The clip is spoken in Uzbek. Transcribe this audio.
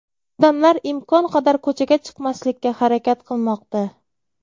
Odamlar imkon qadar ko‘chaga chiqmaslikka harakat qilmoqda.